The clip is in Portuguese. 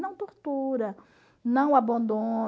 Não tortura, não